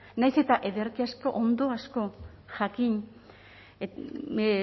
nahiz eta ederki asko ondo asko jakin